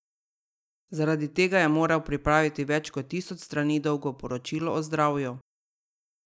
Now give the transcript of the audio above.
Zaradi tega je moral pripraviti več kot tisoč strani dolgo poročilo o zdravju.